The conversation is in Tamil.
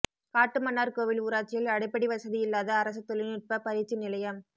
காட்டுமன்னார்கோவில் ஊராட்சியில் அடிப்படை வசதி இல்லாத அரசு தொழில்நுட்ப பயிற்சி நிலையம்